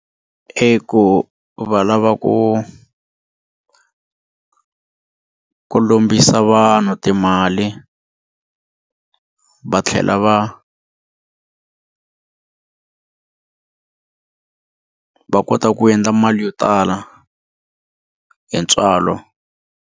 I ku va lava ku ku lombisa vanhu timali va tlhela va va kota ku endla mali yo tala hi ntswalo.